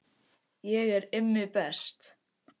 Ég er Immi best